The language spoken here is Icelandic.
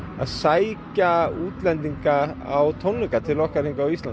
að sækja útlendinga á tónleika til okkar hingað á Íslandi